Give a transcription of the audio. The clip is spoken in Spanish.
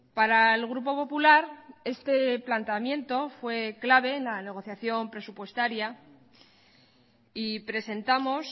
para el grupo popular este planteamiento fue clave en la negociación presupuestaria y presentamos